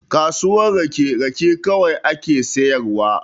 Kasuwar rake, rake kawai ake sayarwa.